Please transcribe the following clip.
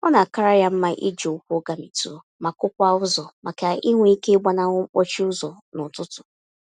Ọ na-akara ya mma iji ụkwụ gamitụ, ma kụ-kwaa ụzọ, màkà inwe ike gbanahụ mkpọchi ụzọ n'ụtụtụ.